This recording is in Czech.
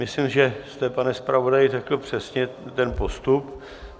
Myslím, že jste, pane zpravodaji, řekl přesně ten postup.